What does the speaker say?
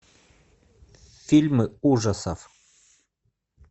фильмы ужасов